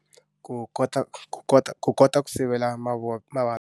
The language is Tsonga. Ku kota ku kota ku kota ku sivela .